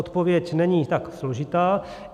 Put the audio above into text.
Odpověď není tak složitá.